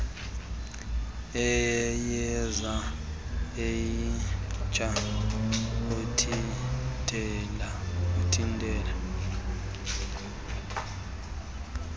iyeza elitsha uthintela